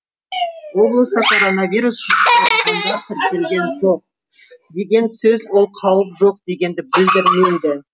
облыста коронавирус жұқтырғандар тіркелген жоқ деген сөз ол қауіп жоқ дегенді білдірмейді